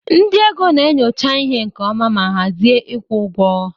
Ndị ego na-enyocha ihe nke ọma ma hazie ịkwụ ụgwọ.